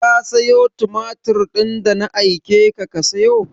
Ka sayo tumatir din da na aike ka ka sayo?